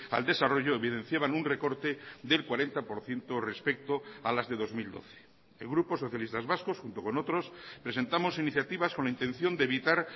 al desarrollo evidenciaban un recorte del cuarenta por ciento respecto a las de dos mil doce el grupo socialistas vascos junto con otros presentamos iniciativas con la intención de evitar